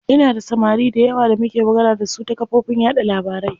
Ina da samari dayawa da muke magana dasu ta kafofin yaɗa labarai.